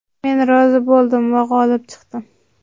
Men rozi bo‘ldim va g‘olib chiqdim!”.